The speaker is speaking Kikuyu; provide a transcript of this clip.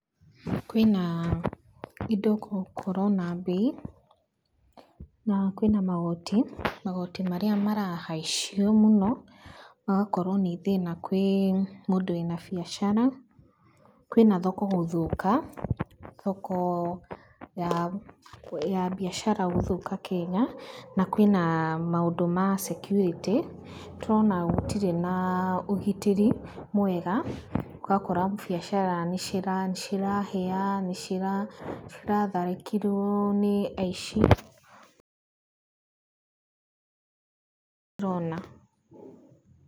Kwĩna indo gũkorwo na mbei, na kwĩna magoti, magoti marĩa marahaicio mũno agakorwo nĩ thĩna kwĩ mũndũ wĩna biacara. Kwĩna thoko gũthũka, thoko ya ya mbiacara gũthũka Kenya. Na, kwĩna maũndũ ma security, tũrona gũtirĩ na ũgitĩri mwega, ũgakora biacara nĩcirahĩa, nĩciratharĩkĩrwo nĩ aici rona.